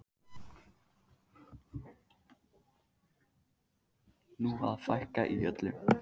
Nú á að fækka í öllu.